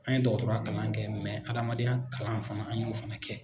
An ye dɔgɔtɔrɔya kalan kɛ adamadenya kalan fana an ye o fana kɛ.